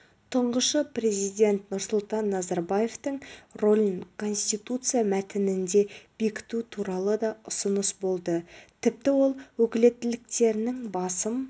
тұңғышы президент нұрсұлтан назарбаевтың рөлін конституция мәтінінде бекіту туралы да ұсыныс болды тіпті ол өкілеттіктерінің басым